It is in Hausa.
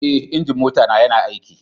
Eh, injin mota na ya na aiki.